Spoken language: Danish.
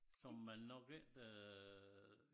Som man nok ikke øh